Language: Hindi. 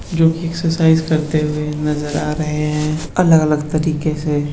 जो की एक्सरसाइज करते नजर आ रहे है अलग अलग तरीके से।